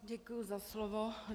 Děkuji za slovo.